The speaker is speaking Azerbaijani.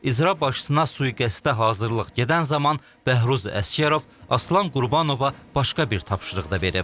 İcra başçısına sui-qəsdə hazırlıq gedən zaman Bəhruz Əsgərov Aslan Qurbanova başqa bir tapşırıq da verib.